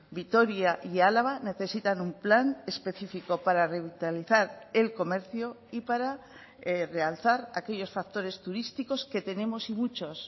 vitoria y álava necesitan un plan específico para revitalizar el comercio y para realzar aquellos factores turísticos que tenemos y muchos